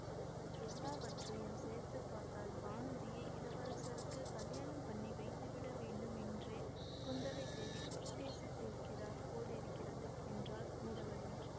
எல்லாவற்றையும் சேர்த்து பார்த்தால் வானதியை இளவரசருக்குக் கலியாணம் பண்ணி வைத்துவிட வேண்டும் என்றே குந்தவைதேவி உத்தேசித்திருக்கிறார் போலிருக்கிறது என்றாள் நிரவதி